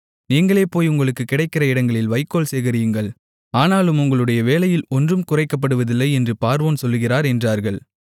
நீங்களே போய் உங்களுக்கு கிடைக்கிற இடங்களில் வைக்கோல் சேகரியுங்கள் ஆனாலும் உங்களுடைய வேலையில் ஒன்றும் குறைக்கப்படுவதில்லை என்று பார்வோன் சொல்லுகிறார் என்றார்கள்